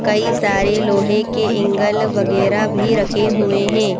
कई सारे लोहे के ऍगल वगेरा भी रखे हुए हैं।